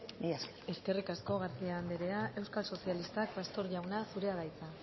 mila esker eskerrik asko garcía anderea euskal sozialistak pastor jauna zurea da hitza